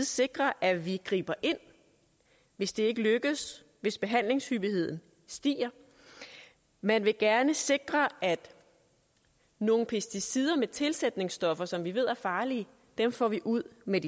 sikre at vi griber ind hvis det ikke lykkes hvis behandlingshyppigheden stiger man vil gerne sikre at nogle pesticider med tilsætningsstoffer som vi ved er farlige får vi ud med